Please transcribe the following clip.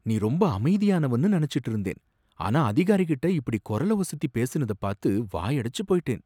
நீ ரொம்ப அமைதியானவன்னு நனைச்சிட்டு இருந்தேன் ஆனா அதிகாரி கிட்ட இப்பிடி கொரல ஒசத்தி பேசினத பாத்து வாயடைச்சு போயிட்டேன்.